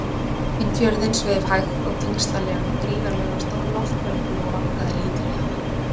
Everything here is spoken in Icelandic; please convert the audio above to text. Inn fjörðinn sveif hægt og þyngslalega gríðarlega stór loftbelgur og vaggaði lítillega.